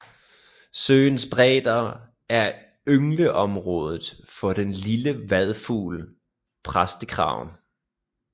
Søens bredder er yngleområdet for den lille vadefugl præstekraven